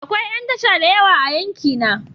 Akwai yan tasha da yawa a yankina.